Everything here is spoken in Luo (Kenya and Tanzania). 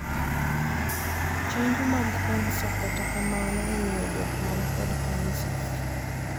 Chenjo mag kansa, kata kamano, imiyo jok man kod kansa.